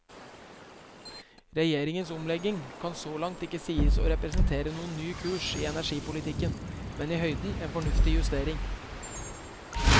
Regjeringens omlegging kan så langt ikke sies å representere noen ny kurs i energipolitikken, men i høyden en fornuftig justering.